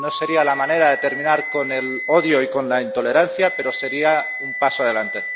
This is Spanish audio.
No sería la manera de terminar con el odio y con la intolerancia, pero sería un paso adelante.